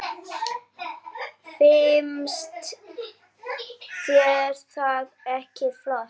Finnst þér það ekki flott?